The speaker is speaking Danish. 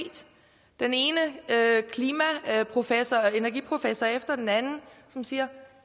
den ene energiprofessor og klimaprofessor efter den anden siger